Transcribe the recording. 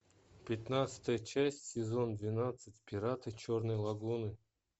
пятнадцатая часть сезон двенадцать пираты черной лагуны